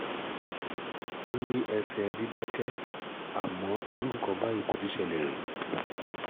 Ó ní ẹsẹ̀ dídákẹ́, àmọ́ irú nǹkan báyìí kò tíì ṣẹlẹ̀ rí